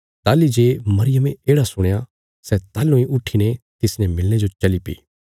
ताहली जे मरियमे येढ़ा सुणया सै ताहलूं इ उट्ठीने तिसने मिलणे जो चलीपी